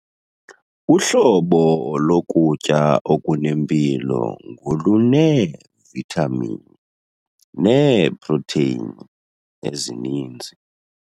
Uhlobo lokutya okunempilo ngoluneevithamini neeprotheyini ezininzi.